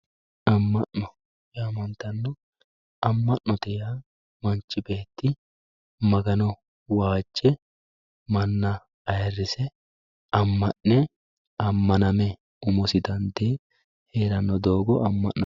Ama'no yaamantano, ama'note yaa manchi beeti magano waaje mana ayiirise ama'ne amaname umosi dandee heeranno doogo ama'no